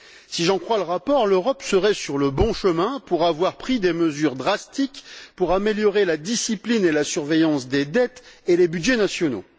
Si j'en crois le rapport, l'Europe serait sur le bon chemin pour avoir pris des mesures drastiques pour améliorer la discipline et la surveillance des dettes et les budgets nationaux.